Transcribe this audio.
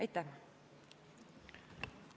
Aitäh!